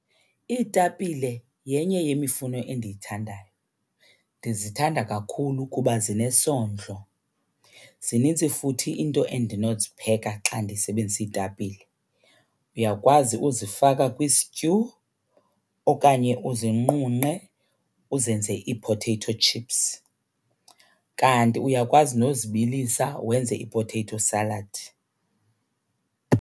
Iitapile yenye yemifuno endiyithandayo. Ndizithanda kakhulu kuba zinesondlo, zinintsi futhi into endinozipheka xa ndisebenzisa iitapile. Uyakwazi uzifaka kwisityu okanye uzinqunqe uzenze ii-potato chips, kanti uyakwazi nozibilisa wenze i-potato salad.